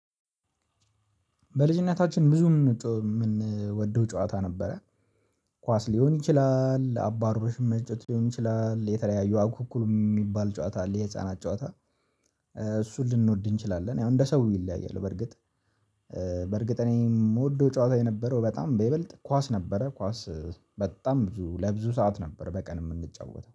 በልጅነታችን ብዙ የምንወደው ጨዋታ ነበረ። ኳስ ሊሆን ይችላል አባሮሽ መጫወት ሊሆን ይችላል የተለያዩ አኩኩል የሚባል ጨዋታ አለ የህፃናት ጨዋታ። እሱን ልንወድ እንችላለን ያው እንደ ሰው ይለያያል። በእርግጥ በእርግጥ እኔ የምወደው ጨዋታ የነበረው በጣም በይበልጥ ኳስ ነበረ። ኳስ በጣም ብዙ ለብዙ ሰዓት ነበር በቀን የምንጫወተው